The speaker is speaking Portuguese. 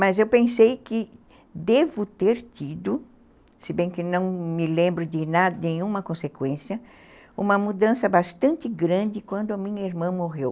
Mas eu pensei que devo ter tido, se bem que não me lembro de nada, nenhuma consequência, uma mudança bastante grande quando a minha irmã morreu.